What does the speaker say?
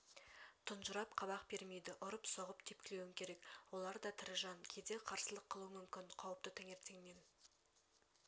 тұнжырап қабақ бермейді ұрып-соғып тепкілеуің керек олар да тірі жан кейде қарсылық қылуы мүмкін қауіпті таңертеңнен